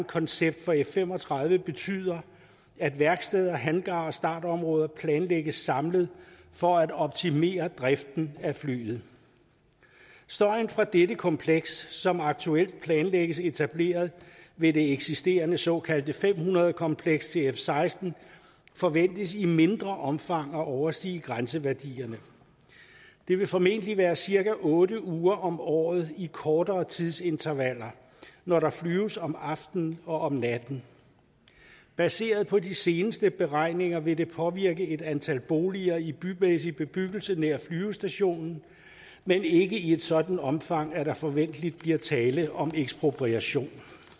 koncept for f fem og tredive betyder at værksteder hangarer og startområder planlægges samlet for at optimere driften af flyet støjen fra dette kompleks som aktuelt planlægges etableret ved det eksisterende såkaldte fem hundrede kompleks til f seksten forventes i mindre omfang at overstige grænseværdierne det vil formentlig være cirka otte uger om året i kortere tidsintervaller når der flyves om aftenen og om natten baseret på de seneste beregninger vil det påvirke et antal boliger i bymæssig bebyggelse nær flyvestationen men ikke i et sådant omfang at der forventelig bliver tale om ekspropriation